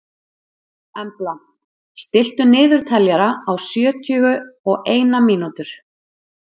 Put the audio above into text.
Embla, stilltu niðurteljara á sjötíu og eina mínútur.